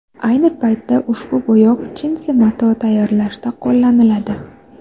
Ayni paytda ushbu bo‘yoq jinsi mato tayyorlashda qo‘llaniladi.